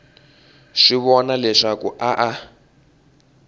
swi vona leswaku a a